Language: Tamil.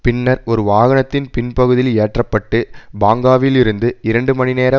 பின்னர் ஒரு வாகனத்தின் பின்பகுதியில் ஏற்ற பட்டு பாங்காவில் இருந்து இரண்டு மணிநேர